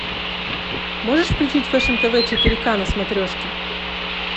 можешь включить фэшн тв четыре к на смотрешке